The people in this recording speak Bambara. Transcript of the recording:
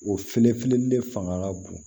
O felefeli de fanga ka bon